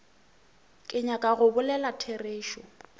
ke nyaka go bolela therešo